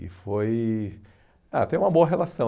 E foi... Ah, tem uma boa relação.